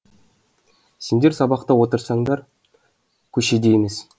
сендер сабақта отырсыңдар көшеде емес